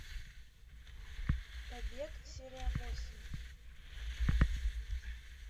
побег серия восемь